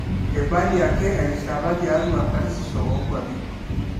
eibali ake erishata tiatwa karsisisho oonkwapi